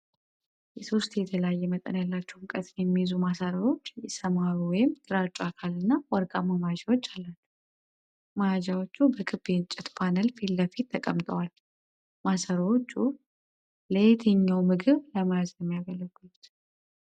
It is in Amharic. ሶስት የተለያየ መጠን ያላቸው ሙቀትን የሚይዙ ማሰሮዎች የሰማያዊ/ግራጫ አካል እና ወርቃማ መያዣዎች አላቸው። መያዣዎቹ በክብ የእንጨት ፓነል ፊት ለፊት ተቀምጠዋል። ማሰሮዎቹ ለየትኛው ምግብ ለመያዝ ነው የሚያገለግሉት?